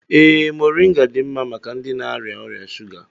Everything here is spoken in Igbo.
Ee, mọrịnga dị mma maka ndị na-arịa ọrịa shuga.